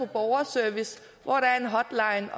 borgerservice hvor der er en hotline